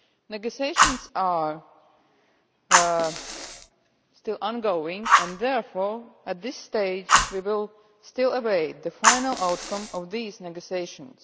Negotiations are still ongoing and therefore, at this stage, we still await the final outcome of these negotiations.